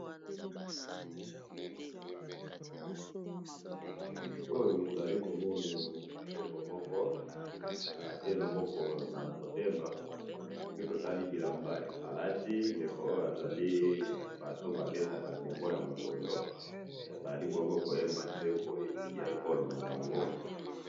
Na moni mobeti ndembo asimbi loboko na motema alati t shirt ya mosaka, aza koyemba nzembo ya ekolo na bango.